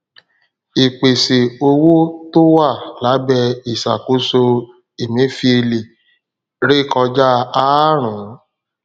ìpèsè owó tó wà lábẹ ìsàkóso emefiele rékọjá àárún